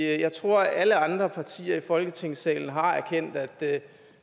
jeg tror alle andre partier i folketingssalen har erkendt at